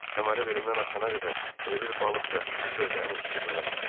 Kəməri belimdən açana qədər elə bil balıq da gözlərini tikib mənə baxırdı.